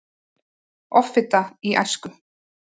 Offita í æsku